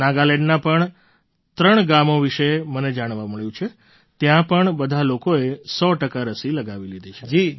નાગાલેન્ડનાં પણ ત્રણ ગામો વિશે મને જાણવા મળ્યું કે ત્યાં પણ બધા લોકોએ સો ટકા રસી લગાવી લીધી છે